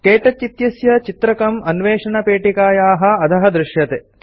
क्तौच इत्यस्य चित्रकं अन्वेषणपेटिकायाः अधः दृश्यते